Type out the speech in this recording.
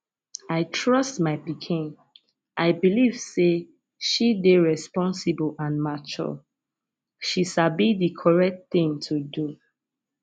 i trust my pikin i belive say she dey responsible and mature she sabi the correct thing to do